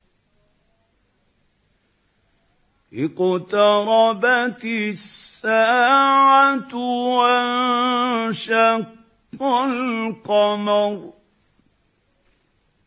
اقْتَرَبَتِ السَّاعَةُ وَانشَقَّ الْقَمَرُ